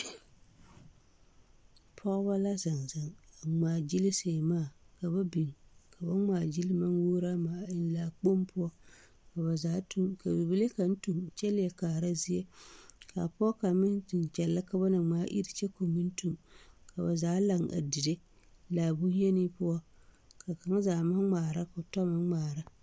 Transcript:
Pɔgeba la zeŋ zeŋ a ŋmaa gyili seemaa ka ba biŋ ka ba ŋmaa gili a maŋ wuoro ama eŋɛ laa kpoŋ poɔ ka ba zaa tu ka bibile kaŋa meŋ tu kyɛ leɛ kaara ka pɔge kaŋa meŋ tu kyɛllɛ ka ba na ŋmaa iri kyɛ ka o meŋ tu ka ba zaa laŋ dire laa bonyeni poɔ ka kaŋa zaa maŋ ŋmaara ka o tɔ meŋ ŋmaara.